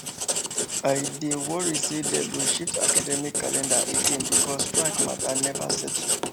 i dey worry say dem go shift academic calendar again because strike matter never settle